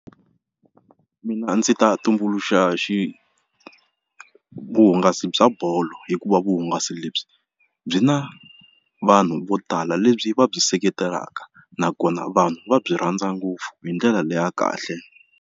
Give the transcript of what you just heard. Mina ndzi ta tumbuluxa xi vuhungasi bya bolo hikuva vuhungasi lebyi byi na vanhu vo tala lebyi va byi seketelaka nakona vanhu va byi rhandza ngopfu hi ndlela leya kahle.